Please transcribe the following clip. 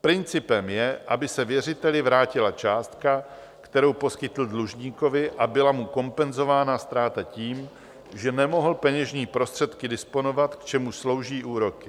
Principem je, aby se věřiteli vrátila částka, kterou poskytl dlužníkovi, a byla mu kompenzována ztráta tím, že nemohl peněžními prostředky disponovat, k čemuž slouží úroky.